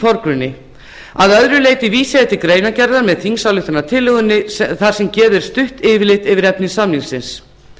forgrunni að öðru leyti vísa ég til greinargerðar með þingsályktunartillögunni þar sem gefið er stutt yfirlit yfir efni samningsins